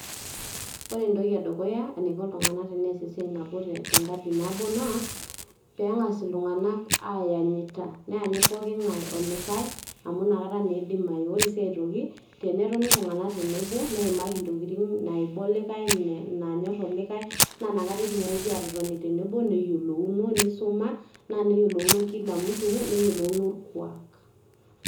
Ore entoki e dukuya eniko iltung`anak teneas esiai nabo te nkaji nabo naa pee eng`as iltung`anak ayanyita. Neyanyit poki ng`ae olikae amu inakata naa idimayu. Ore sii aitoki tenetoni iltung`anak tenebo neimaki ntokitin naiba olikae, naanyorr olikae. Naa ina kata etumoki aatotoni tenebo neyiolouno neisuma, naa neyiolouno kila mtu neyiolouno orkuak